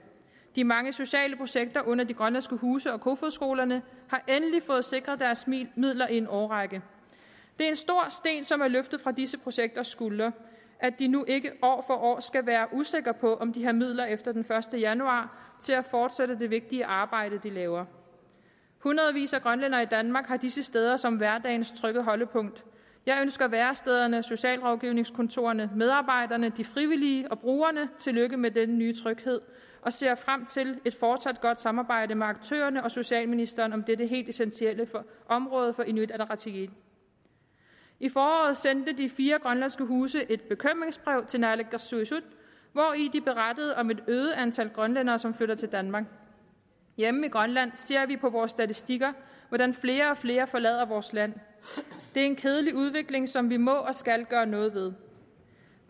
de mange sociale projekter under de grønlandske huse og kofoedskolerne har endelig fået sikret deres midler i en årrække det er en stor sten som er løftet fra disse projekters skuldre at de nu ikke år for år skal være usikre på om de har midler efter den første januar til at fortsætte det vigtige arbejde de laver hundredvis af grønlændere i danmark har disse steder som hverdagens trygge holdepunkt jeg ønsker værestederne socialrådgivningskontorerne medarbejderne de frivillige og brugerne tillykke med den nye tryghed og ser frem til et fortsat godt samarbejde med aktørerne og socialministeren om dette helt essentielle område for inuit ataqatigiit i foråret sendte de fire grønlandske huse et bekymringsbrev til naalakkersuisut hvori de berettede om et øget antal grønlændere som flytter til danmark hjemme i grønland ser vi på vores statistikker hvordan flere og flere forlader vores land det er en kedelig udvikling som vi må og skal gøre noget ved